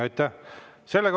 Aitäh!